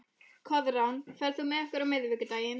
Koðrán, ferð þú með okkur á miðvikudaginn?